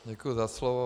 Děkuji za slovo.